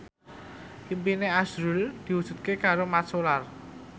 impine azrul diwujudke karo Mat Solar